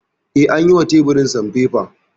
Eh, an yi wa teburin sanfefa